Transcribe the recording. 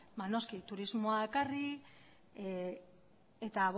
ba noski turismoa ekarri eta